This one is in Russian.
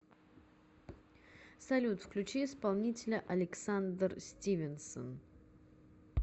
салют включи исполнителя александр стивенсон